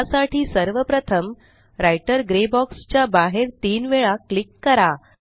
या साठी सर्वप्रथम राइटर ग्रे बॉक्स च्या बाहेर तीन वेळा क्लिक करा